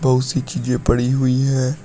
बहुत सी चीजें पड़ी हुई है।